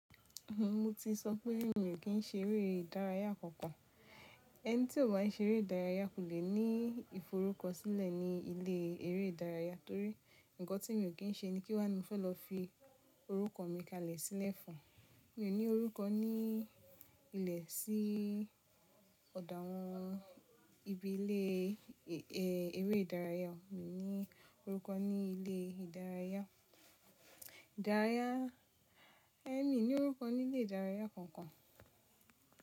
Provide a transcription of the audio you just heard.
Mo ti sọ pé mi ò kì í ṣe eré ìdárayá kankan. Ẹni tí ò bá ń ṣe eré ìdárayá kò lè ní ìforúkọ sílẹ̀ ní ilé eré ìdárayá torí nǹkan tí mi ò kí n ṣe ni kí wá ni mo fẹ́ lọ fi orúkọ mi kalẹ̀ sílẹ̀ fún. Mi ò ní orúkọ ní ilẹ̀ sí ọ̀dọ̀ àwọn ibi ilé eré ìdárayá. Mi ò ní orúkọ ní ilé ìdárayá. Ìdárayá, ẹ́ ni ní orúkọ ní ilé ìdárayá kankan.